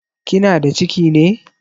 Kina da ciki ne?